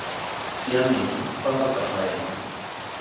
siameng fa go sa faelwa